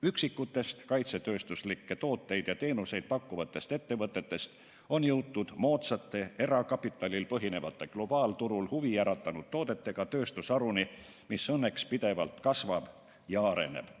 Üksikute kaitsetööstuslikke tooteid ja teenuseid pakkuvate ettevõtete asemel on meil nüüd erakapitalil põhinev ja globaalturul huvi äratanud moodsate toodetega tööstusharu, mis õnneks pidevalt kasvab ja areneb.